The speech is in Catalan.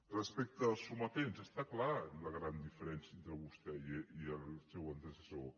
respecte als sometents és clara la gran diferència entre vostè i el seu antecessor